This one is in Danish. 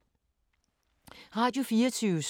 Radio24syv